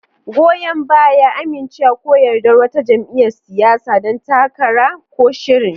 Goyon baya: Amincewa ko yardar wata jam'iyyar siyasa, ɗan takara, ko shirin.